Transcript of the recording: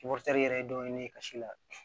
yɛrɛ ye dɔ ɲini ne ye ka si la